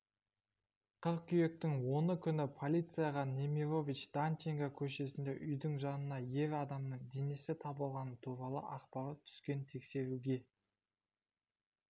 қыркүйектің оны күні полицияға немирович-данченко көшесіндегі үйдің жанынан ер адамның денесі табылғаны туралы ақпарат түскен тексеруге